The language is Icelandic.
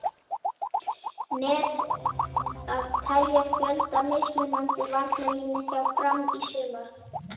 Net að telja fjölda mismunandi varnarlína hjá Fram í sumar?